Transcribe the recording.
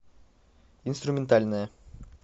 инструментальная